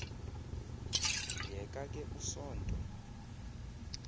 yeka ke usonto